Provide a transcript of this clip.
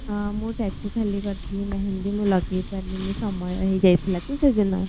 ହଁ ମୁଁ tattoo ଖାଲି କରିଥିଲି ମେହେଦୀ ମୁଁ ଲଗେଇ ପାରିଲିନୀ ସମୟ ହେଇ ଯାଇଥିଲା ତ ସେ ଦିନ